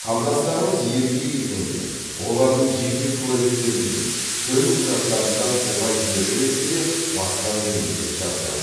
қандастарымыз елге келгенде олардың жеке куәліктерінде төлқұжаттарында туған жері ретінде басқа мемлекет жазылады